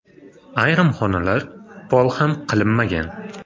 Ayrim xonalar pol ham qilinmagan.